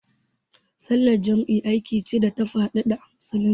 Sallar jam'i aiki ce da ta faɗaɗa a Musulunci.